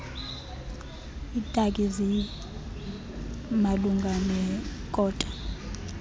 iitaki zimalunga nekota